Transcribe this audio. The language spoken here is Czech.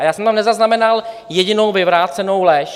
A já jsem tam nezaznamenal jedinou vyvrácenou lež.